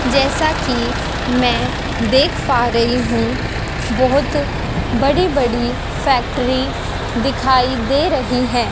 जैसा कि मैं देख पा रही हूं बहोत बड़ी बड़ी फैक्ट्री दिखाई दे रही है।